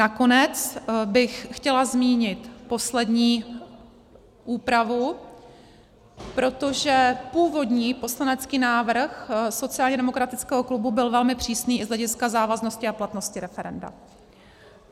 Nakonec bych chtěla zmínit poslední úpravu, protože původní poslanecký návrh sociálně demokratického klubu byl velmi přísný i z hlediska závaznosti a platnosti referenda.